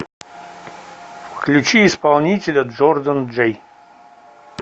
включи исполнителя джордан джэй